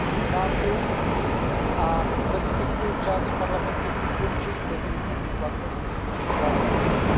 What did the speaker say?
Chápu a respektuji přání Parlamentu ukončit s definitivní platností používání výjimek.